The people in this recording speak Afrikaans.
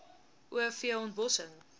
o v ontbossing